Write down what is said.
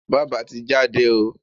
Bába ti jáde o.